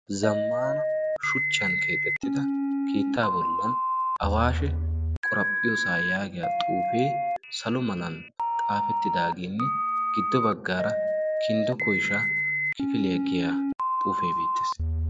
zammana shuchchan keexettida kiittaa bollan awaashe qoraphphiyoosaa yaagiya xuufee salo malan xaafettidaaginne giddo baggaara kinddo koisha kifilya giya xuufee biittees.